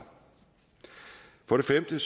for det femte